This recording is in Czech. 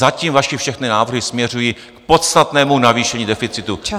Zatím vaše všechny návrhy směřují k podstatnému navýšení deficitu.